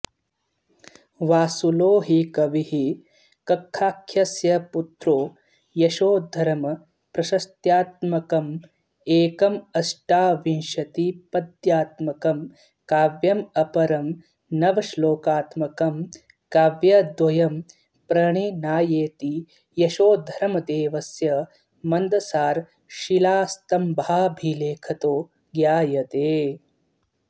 वासुलो हि कविः कक्काख्यस्य पुत्रो यशोधर्मप्रशस्त्यात्मकमेकमष्टाविंशतिपद्यात्मकं काव्यमपरं नवश्लोकात्मकं काव्यद्वयं प्रणिनायेति यशोधर्मदेवस्य मन्दसारशिलास्तम्भाभिलेखतो ज्ञायते